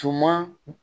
Tuma